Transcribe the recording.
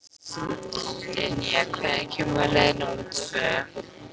Dynja, hvenær kemur leið númer tvö?